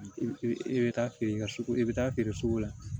I bɛ taa feere i ka sugu i bɛ taa feere sugu la